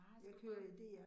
Nej så det godt